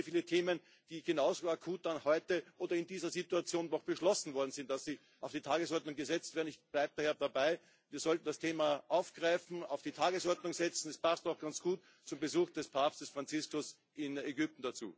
Es gibt viele, viele Themen, über die genauso akut wie heute oder in dieser Situation noch beschlossen worden ist, dass sie auf die Tagesordnung gesetzt werden. Ich bleibe daher dabei Wir sollten das Thema aufgreifen und auf die Tagesordnung setzen es passt doch ganz gut zum Besuch von Papst Franziskus in Ägypten.